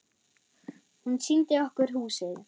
Hún sýndi okkur húsið.